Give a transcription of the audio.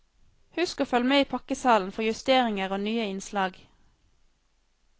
Husk å følg med i pakkesalen for justeringer og nye innslag.